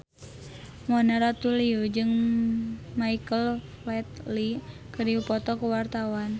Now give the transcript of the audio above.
Mona Ratuliu jeung Michael Flatley keur dipoto ku wartawan